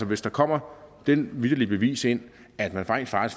hvis der kommer det vitterlige bevis ind